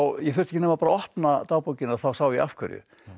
ég þurfti ekki nema að opna dagbókina þá sá ég af hverju